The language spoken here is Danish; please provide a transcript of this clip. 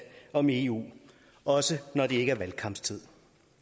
om eu også når det ikke er valgkampstid